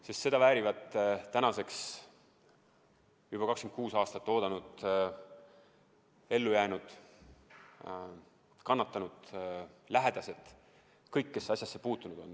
Sest seda väärivad tänaseks juba 26 aastat oodanud ellujäänud, kannatanud, lähedased – kõik, kes asjasse puutunud on.